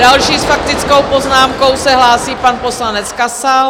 Další s faktickou poznámkou se hlásí pan poslanec Kasal.